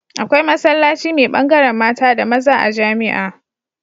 Akwai masallaci me bangaran mata da maza a jamia